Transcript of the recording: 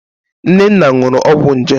Nnenna ṅụrụ ọgwọ nje.